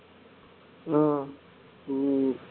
ஆஹ் உம்